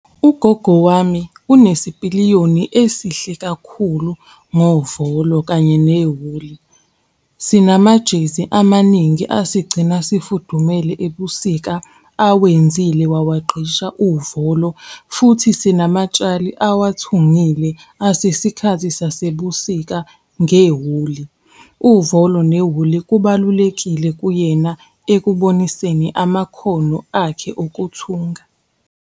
Ugogo wami onesipiliyoni esihle kakhulu ngovolo kanye newuli. Sinamajezi amaningi asigcina sifudumele ebusika awenzile wawaqgcisha uvolo, futhi sinamatshali awathungile asesikhathi sasebusika ngewuli. Uvolo newuli kubalulekile kuyena ekuboniseni amakhono akhe okuthunga.